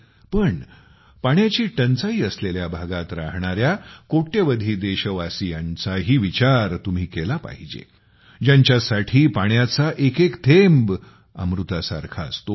पण पाण्याची टंचाई असलेल्या भागात राहणार्या कोट्यवधी देशवासियांचाही विचार तुम्ही केला पाहिजे ज्यांच्यासाठी पाण्याचा एकएक थेंब अमृतासारखा असतो